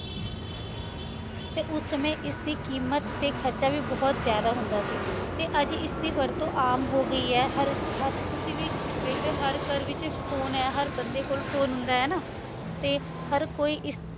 ਤੇ ਓਸ ਸਮੇ ਏਸ੍ਦੀਕ਼ੀਮਤ ਤੇ ਖਰਚਾ ਵੀ ਬੋਹਤ ਜਿਆਦਾ ਹੁੰਦਾ ਸੀ ਤੇ ਆਜ ਇਸਦੀ ਵਰਤੁ ਆਮ ਹੋਗੀ ਆਯ ਹਰ ਹਰ ਤੁਸੀਂ ਵੀ ਵੇਖਦੇ ਊ ਹਰ ਘਰ ਵਿਚ phone ਆਯ ਹਰ ਬੰਦੇ ਕੋਲ phone ਹੁੰਦਾ ਆਯ ਨਾ ਤੇ ਹਰ ਕੋਈ ਏਸ